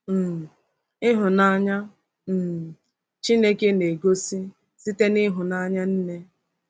um Ịhụnanya um Chineke na-egosi site n’ịhụnanya nne